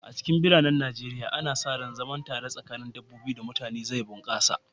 A cikin biranen Najeriya, ana sa ran zaman tare tsakanin mutane da dabbobi zai bunƙasa.